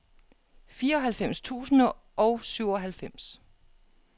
fireoghalvfems tusind og syvoghalvfems